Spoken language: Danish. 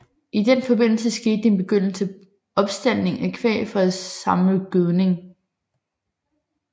I den forbindelse skete en begyndende opstaldning af kvæg for at samle gødning